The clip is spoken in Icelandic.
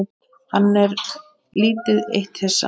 Hann er lítið eitt hissa.